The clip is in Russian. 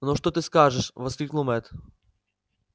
ну что ты скажешь воскликнул мэтт